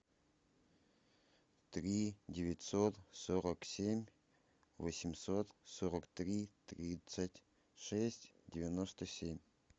три девятьсот сорок семь восемьсот сорок три тридцать шесть девяносто семь